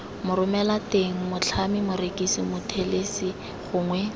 moromelateng motlhami morekisi mothelesi gongwe